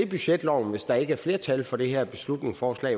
budgetloven hvis der ikke er flertal for det her beslutningsforslag